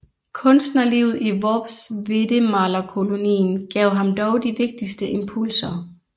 Kunstnerlivet i Worpswedemalerkolonien gav ham dog de vigtigste impulser